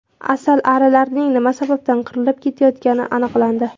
Asalarilarning nima sababdan qirilib ketayotgani aniqlandi.